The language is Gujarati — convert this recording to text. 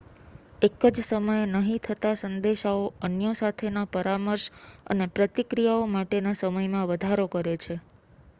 એક જ સમયે નહીં થતા સંદેશાઓ અન્યો સાથેના પરામર્શ અને પ્રતિક્રિયાઓ માટેના સમયમાં વધારો કરે છે